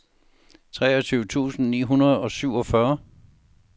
treogtyve tusind ni hundrede og syvogfyrre